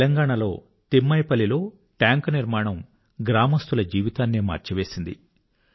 తెలంగాణాలో తిమ్మాయిపల్లి తిమ్మైపల్లి లో టాంక్ నిర్మాణం గ్రామజనుల జీవితాన్నే మార్చివేసింది